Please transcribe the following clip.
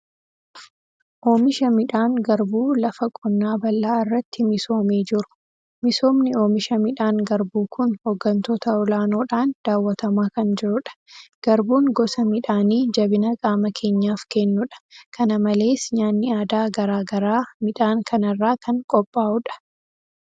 Oomisha midhaan garbuu lafa qonnaa bal'aa irratti misoomee jiru. Misoomni oomisha midhaan garbuu kun hooggantoota olaanoodhaan daawwatamaa kan jirudha. Garbuun gosa midhaanii jabina qaama keenyaaf kennudha. Kana malees nyaanni aadaa garaa garaa midhaan kanarraa kan qophaa'udha.